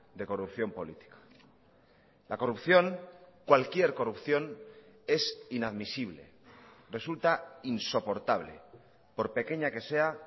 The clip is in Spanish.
de corrupción política la corrupción cualquier corrupción es inadmisible resulta insoportable por pequeña que sea